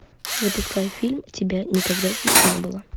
запускай фильм тебя никогда здесь не было